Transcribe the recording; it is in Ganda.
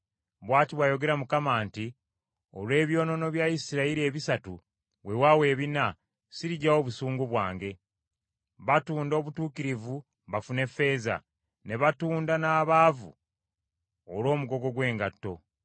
Bw’ati bw’ayogera Mukama nti, “Olw’ebyonoono bya Isirayiri ebisatu weewaawo ebina, siriggyawo busungu bwange. Batunda obutuukirivu bafune ffeeza, ne batunda n’abaavu olw’omugogo gw’engatto.